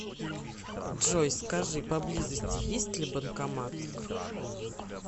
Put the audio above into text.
джой скажи поблизости есть ли банкомат